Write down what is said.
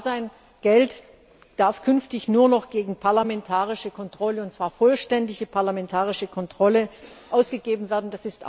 Es muss klar sein Geld darf künftig nur noch gegen parlamentarische Kontrolle, und zwar vollständige parlamentarische Kontrolle, ausgegeben werden.